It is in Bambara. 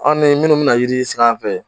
Aw ni minnu mina yiri sing'an fɛ